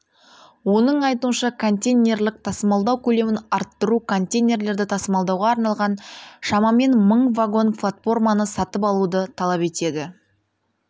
оның айтуынша контейнерлік тасымалдау көлемін арттыру контейнерлерді тасымалдауға арналған шамамен мың вагон-платформаны сатып алуды талап етеді